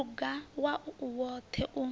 luga wau u woṱhe u